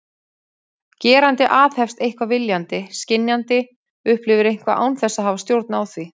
Gerandi aðhefst eitthvað viljandi, skynjandi upplifir eitthvað án þess að hafa stjórn á því.